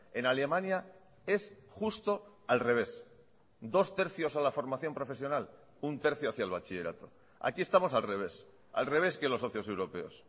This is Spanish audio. en alemania es justo al revés dos tercios a la formación profesional un tercio hacia el bachillerato aquí estamos al revés al revés que los socios europeos